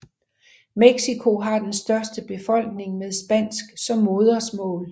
Mexico har den største befolkning med spansk som modersmål